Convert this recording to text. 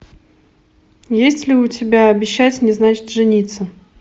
есть ли у тебя обещать не значит жениться